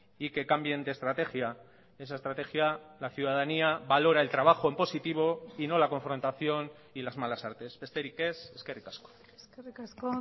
y que cambien de estrategia esa estrategia la ciudadanía valora el trabajo en positivo y no la confrontación y las malas artes besterik ez eskerrik asko eskerrik asko